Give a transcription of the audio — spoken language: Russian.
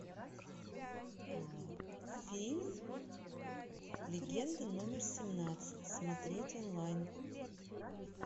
фильм легенда номер семнадцать смотреть онлайн